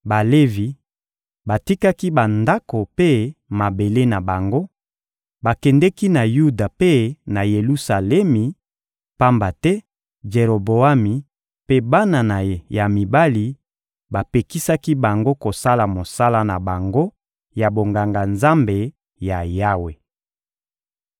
Balevi batikaki bandako mpe mabele na bango, bakendeki na Yuda mpe na Yelusalemi, pamba te Jeroboami mpe bana na ye ya mibali bapekisaki bango kosala mosala na bango ya bonganga-Nzambe ya Yawe.